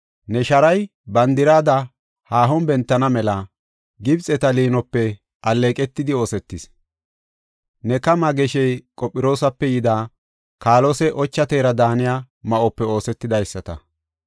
Ne sharay bandirada haahon bentana mela, Gibxeta liinope alleeqetidi oosetis. Ne kamaa geshey Qophiroosape yida, kaalose ocha teera daaniya ma7ope oosetidaysata.